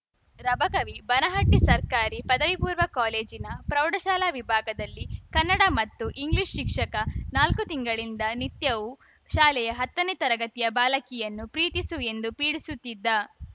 ರಬಕವಿಬನಹಟ್ಟಿಸರ್ಕಾರಿ ಪದವಿಪೂರ್ವ ಕಾಲೇಜಿನ ಪ್ರೌಢಶಾಲಾ ವಿಭಾಗದಲ್ಲಿ ಕನ್ನಡ ಮತ್ತು ಇಂಗ್ಲಿಷ್‌ ಶಿಕ್ಷಕ ನಾಲ್ಕು ತಿಂಗಳಿಂದ ನಿತ್ಯವೂ ಶಾಲೆಯ ಹತ್ತನೇ ತರಗತಿಯ ಬಾಲಕಿಯನ್ನು ಪ್ರೀತಿಸು ಎಂದು ಪೀಡಿಸುತ್ತಿದ್ದ